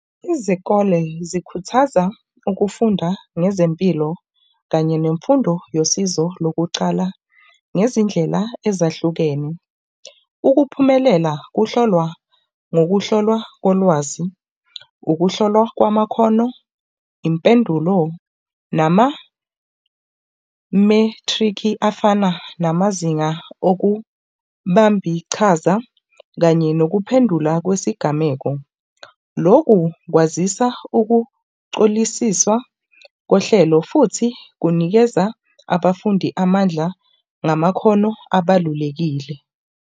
Izikole zikhuthaza ukufunda ngezempilo kanye nemfundo yosizo lokucala nezindlela ezahlukene. Ukuphumelela kuhlolwa ngokuhlolwa kolwazi ukuhlolwa kwamakhono, impendulo nama-matric-i afana namazinga okubambiqhaza kanye nokuphendula kwesigameko. Loku kwazisa ukucolisisa kohlelo futhi kunikeza abafundi amandla ngamakhono abalulekile.